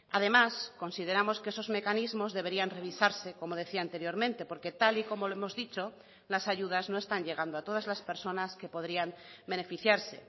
además consideramos que esos mecanismos deberían revisarse como decía anteriormente porque tal y como lo hemos dicho las ayudas no están llegando a todas las personas que podrían beneficiarse